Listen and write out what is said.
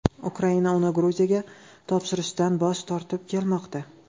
Ukraina uni Gruziyaga topshirishdan bosh tortib kelmoqda.